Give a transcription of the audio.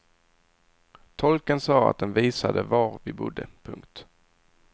Tolken sa att den visade var vi bodde. punkt